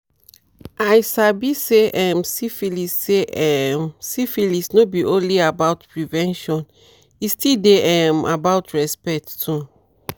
i sabi say um syphilis say um syphilis no be only about prevention e still dey um about respect too